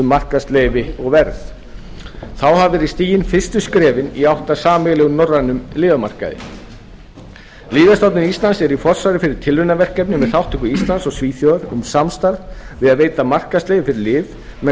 markaðsleyfi og verð þá hafa verið stigin fyrstu skrefin í átt að sameiginlegum norrænum lyfjamarkaði lyfjastofnun íslands er í forsvari fyrir tilraunaverkefni með þátttöku íslands og svíþjóðar um samstarf við að veita markaðsleyfi fyrir lyf með